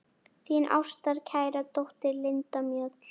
Þín ástkæra dóttir, Linda Mjöll.